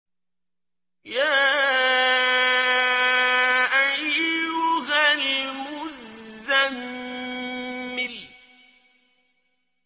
يَا أَيُّهَا الْمُزَّمِّلُ